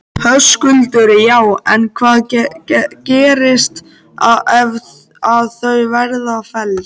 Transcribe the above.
Höskuldur: Já en hvað gerist ef að þau verða felld?